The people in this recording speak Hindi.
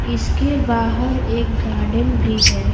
इसके बाहर एक गार्डन भी है।